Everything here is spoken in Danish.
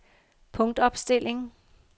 punktopstilling